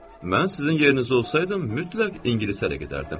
Mən sizin yerinizdə olsaydım, mütləq ingilisə də gedərdim.